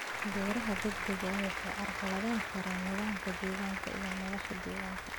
Beeraha degdega ah waxay carqaladayn karaan nidaamka deegaanka iyo noolaha deegaanka.